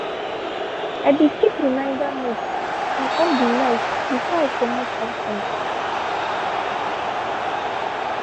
i be keep reminder note and off de light before i comot outside.